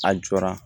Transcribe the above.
A jɔra